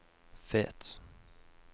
Fet